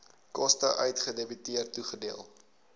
koste uitgedebiteer toegedeel